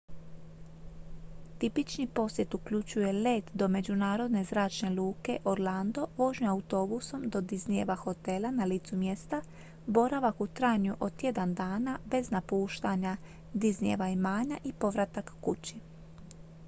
tipični posjet uključuje let do međunarodne zračne luke orlando vožnju autobusom do disneyjeva hotela na licu mjesta boravak u trajanju od tjedan dana bez napuštanja disneyjeva imanja i povratak kući